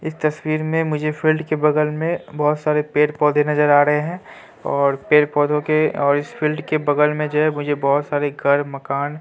इस तस्वीर में मुझे फील्ड के बगल में बहोत सारे पेड़-पौधे नजर आ रहे हैं और पेड़-पौधों के और इस फील्ड के बगल में जो है मुझे बहोत सारे घर मकान --